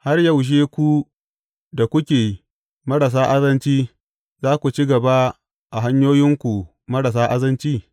Har yaushe ku da kuke marasa azanci za ku ci gaba a hanyoyinku marasa azanci?